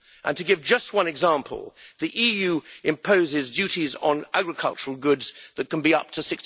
To give just one example, the EU imposes duties on agricultural goods that can be up to